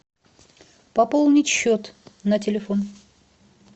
пополнить счет на телефон